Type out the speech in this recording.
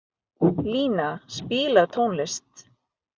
Lína, spilaðu tónlist.